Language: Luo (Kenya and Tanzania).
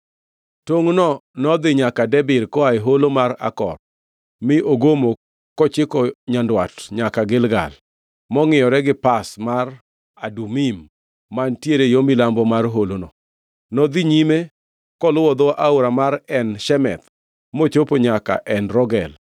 Tongʼno nodhi nyaka Debir koa e Holo mar Akor mi ogomo kochiko nyandwat nyaka Gilgal, mangʼiyore gi Pass mar Adumim mantiere yo milambo mar holono. Nodhi nyime koluwo dho aora mar En Shemesh mochopo nyaka En Rogel.